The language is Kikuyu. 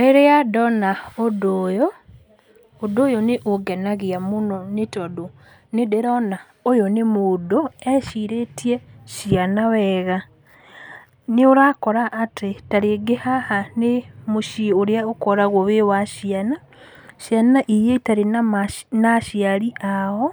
Rĩrĩa ndona ũndũ ũyũ, ũndũ ũyũ nĩũngenagia mũno nĩtondũ nĩndĩrona ũyũ nĩ mũndũ ecirĩtie ciana wega. Nĩũrakora atĩ tarĩngĩ haha nĩ mũciĩ ũrĩa ũkoragwo wĩ wa ciana, ciana iria itarĩ na ma na aciari ao,